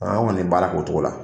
Aw kɔni bi baara k'o cogo la